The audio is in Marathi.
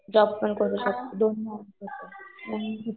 जॉब पण करू शकते दोन्ही